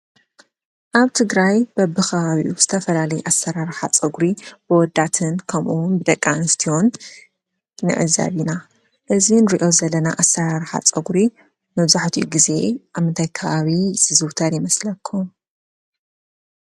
ኣብ ትግራይ በቢ ኸባቢኡ ዝተፈላለዩ ኣሰራርሓ ፀጉሪ በወዳትን ከምኡ እውን ደቂ ኣንስትዮን ንዕዘብ ኢና። እዚ እንሪኦ ዘለና ኣሰራርሓ ፀጉሪ መብዛሕቲኡ ግዜ ኣብ ምንታይ ከባቢ ዝዝወተር ይመስለኩም ?